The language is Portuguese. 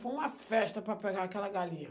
Foi uma festa para pegar aquela galinha.